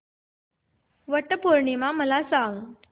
वट पौर्णिमा मला सांग